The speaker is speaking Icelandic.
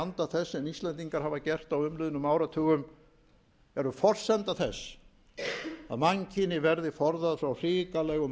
anda þess sem íslendingar hafa gert á umliðnum áratugum eru forsenda þess að mannkyni verði forðað frá hrikalegum